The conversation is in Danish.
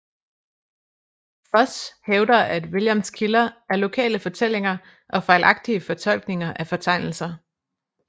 Foss hævder at Williams kilder er lokale fortællinger og fejlagtige fortolkninger af fortegnelser